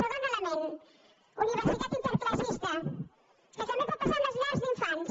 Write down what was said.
segon element universitat interclassista que també pot passar amb les llars d’infants